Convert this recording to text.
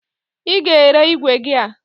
Ị ga-ere igwe gị a!